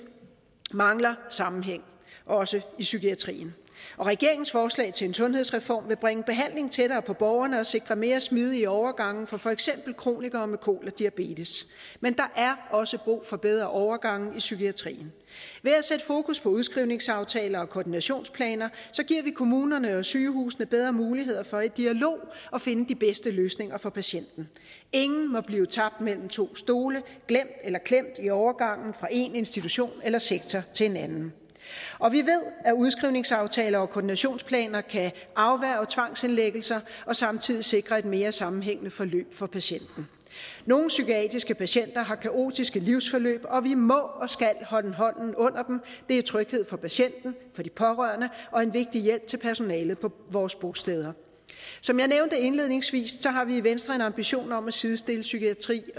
mangler sammenhæng også i psykiatrien regeringens forslag til en sundhedsreform vil bringe behandlingen tættere på borgerne og sikre mere smidige overgange for for eksempel kronikere med kol og diabetes men der er også brug for bedre overgange i psykiatrien ved at sætte fokus på udskrivningsaftaler og koordinationsplaner giver vi kommunerne og sygehusene bedre muligheder for i dialog at finde de bedste løsninger for patienten ingen må blive tabt mellem to stole glemt eller klemt i overgangen fra én institution eller sektor til en anden og vi ved at udskrivningsaftaler og koordinationsplaner kan afværge tvangsindlæggelser og samtidig sikre et mere sammenhængende forløb for patienten nogle psykiatriske patienter har kaotiske livsforløb og vi må og skal holde hånden under dem det er tryghed for patienten og for de pårørende og en vigtig hjælp til personalet på vores bosteder som jeg nævnte indledningsvis har vi i venstre en ambition om at sidestille psykiatri